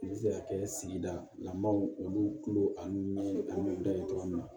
N bɛ se ka kɛ sigida lamɔnw olu kulo ani da ye dɔrɔn